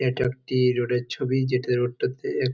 এটা একটি রোডের ছবি। যেটা রোড টাতে এ--